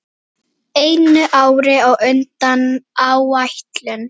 Einu ári á undan áætlun.